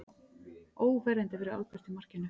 Óverjandi fyrir Albert í markinu.